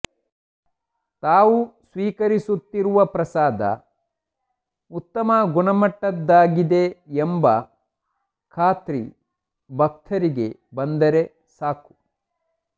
ತಾವು ಸ್ವೀಕರಿಸುತ್ತಿರುವ ಪ್ರಸಾದ ಉತ್ತಮ ಗುಣಮಟ್ಟದ್ದಾಗಿದೆ ಎಂಬ ಖಾತ್ರಿ ಭಕ್ತರಿಗೆ ಬಂದರೆ ಸಾಕು